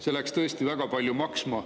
See läks tõesti väga palju maksma.